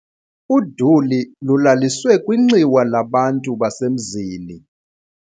Uduli lulaliswe kwinxiwa labantu basemzini.